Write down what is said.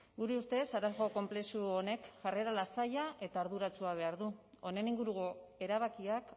gure ustez arazo konplexu honek jarrera lasaia eta arduratsua behar du honen inguruko erabakiak